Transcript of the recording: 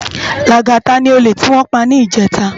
Lagata ni ólè tiwòn pá nijètá